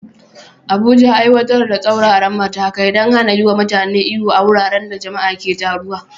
Abuja, aiwatar da tsauraran matakai don hana yiwa mutane ihu a wuraren da jama'a ke taruwa.